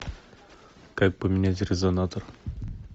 как поменять резонатор